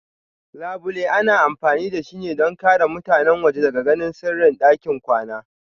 Labule ana amfani da shi don ƙare mutane waje daga ganin sirrin ɗakin kwana.